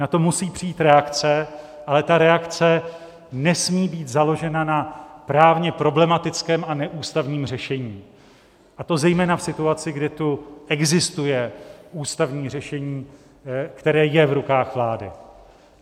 Na to musí přijít reakce, ale ta reakce nesmí být založena na právně problematickém a neústavním řešení, a to zejména v situaci, kdy tu existuje ústavní řešení, které je v rukou vlády.